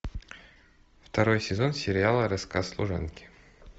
второй сезон сериала рассказ служанки